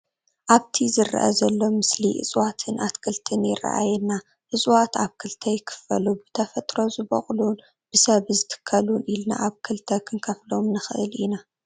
ኣብቲ ዝረአ ዘሎ ምስሊ እፀዋትን ኣትክልትን ይረኣየና፡፡ እፀዋት ኣብ ክልተ ይኽፈሉ፡፡ ብተፈጥሮ ዝቦቑሉን ብሰብ ዝትከሉን ኢልና ኣብ ክልተ ክንከፍሎም ንኽእል ኢና፡፡